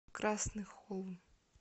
красный холм